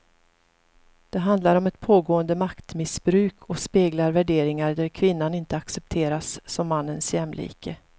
Det handlar om ett pågående maktmissbruk och speglar värderingar där kvinnan inte accepteras som mannens jämlike.